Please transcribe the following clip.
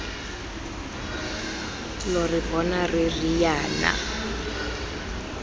lo re bona re riana